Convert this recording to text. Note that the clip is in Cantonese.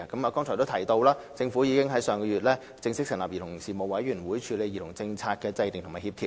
"我剛才已提及，政府已於上月正式成立委員會，處理兒童政策的制訂和協調。